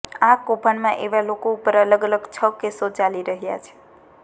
આ કૌભાંડમાં એવા લોકો ઉપર અલગ અલગ છ કેસો ચાલી રહૃાા છે